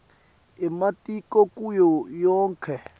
ematiko kuyo yonkhe